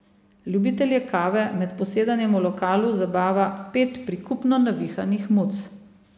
Ljubitelje kave med posedanjem v lokalu zabava pet prikupno navihanih muc.